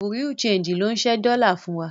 Bùrúdì ṣẹegì ló ń ṣẹ́ dọ́lá fún wa.